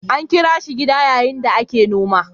An kira shi gida yayin da yake noma.